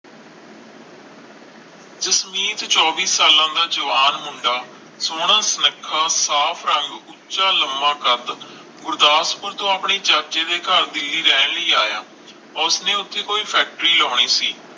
ਜਸਮੀਤ ਚੌਵੀ ਸਾਲਾਂ ਦਾ ਜਵਾਨ ਮੁੰਡਾ ਸੋਹਣਾ ਸੁਨੱਖਾ ਸਾਫ ਰੰਗ ਉਚਾ ਲੰਮਾ ਕੱਦ ਗੁਰਦਸਪੂਰ ਤੋਂ ਆਪਣੇ ਚਾਚੇ ਦੇ ਘਰ ਦਿੱਲੀ ਰਹਿਣ ਲਈ ਆਇਆ ਉਸ ਨੇ ਉਸਦੀ ਕੋਈ ਫੈਕਟਰੀ ਲਾਉਣੀ ਸੀ